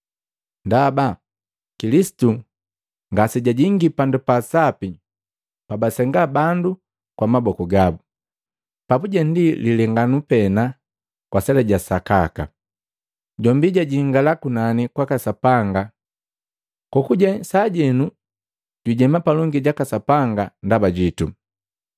Ndaba Kilisitu ngasejajingi Pandu pa Sapi pabasenga bandu kwa maboku gabu, papuje ndi lilenganu pena kwa sela sa sakaka. Jombi jajingala kunani kwaka Sapanga kokuje, kokujeni sajenu jujema palongi jaka Sapanga ndaba jitu.